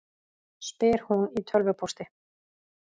spyr hún í tölvupósti.